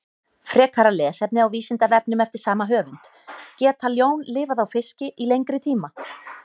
Frekara lesefni á Vísindavefnum eftir sama höfund: Geta ljón lifað á fiski í lengri tíma?